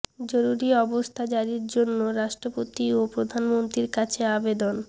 জরুরি অবস্থা জারির জন্য রাষ্ট্রপতি ও প্রধানমন্ত্রীর কাছে আবেদন